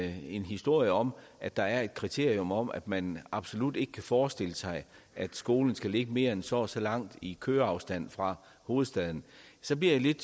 historie om at der er et kriterium om at man absolut ikke kan forestille sig at skolen skal ligge mere end så og så langt i køreafstand fra hovedstaden så bliver jeg lidt